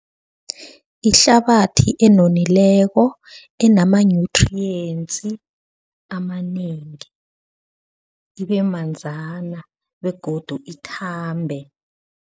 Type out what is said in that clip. Ihlabathi enonileko enama-nutrients amanengi ibe manzana begodu ithambe.